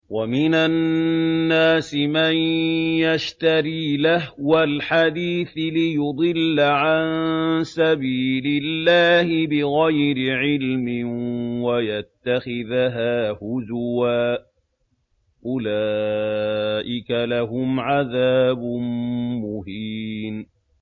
وَمِنَ النَّاسِ مَن يَشْتَرِي لَهْوَ الْحَدِيثِ لِيُضِلَّ عَن سَبِيلِ اللَّهِ بِغَيْرِ عِلْمٍ وَيَتَّخِذَهَا هُزُوًا ۚ أُولَٰئِكَ لَهُمْ عَذَابٌ مُّهِينٌ